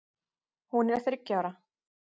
Hún er þriggja ára.